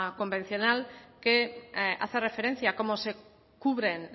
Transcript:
convencional que hace referencia a cómo se cubren